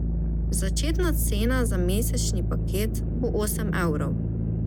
Začetna cena za mesečni paket bo osem evrov.